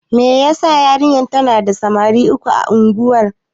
Me yasa yarinyar tana da samari guda uku a unguwar.